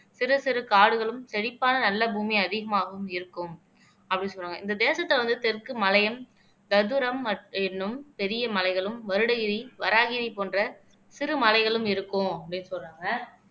சிறு சிறு காடுகளும் செழிப்பான நல்ல பூமி அதிகமாகவும் இருக்கும் அப்படின்னு சொன்னாங்க இந்த தேசத்தை வந்து தெற்கு மலையையும் எண்ணும் பெரிய மலைகளும் வருடகிரி வராகிரி போன்ற சிறு மலைகளும் இருக்கும் அப்படின்னு சொல்றாங்க